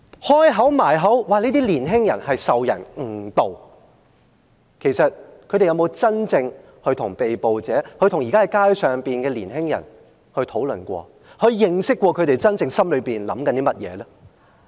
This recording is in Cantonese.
保皇黨不斷強調這些年輕人是受人誤導，其實他們有沒有真正跟被捕者，跟在街上的年青人討論過，了解過這些年青人心裏的想法呢？